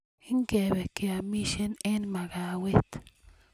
ngebe keamishen eng makawet